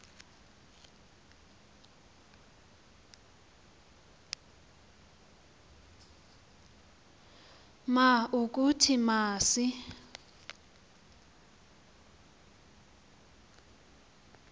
ma ukuthi masi